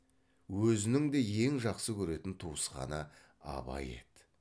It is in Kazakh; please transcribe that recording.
өзінің де ең жақсы көретін туысқаны абай еді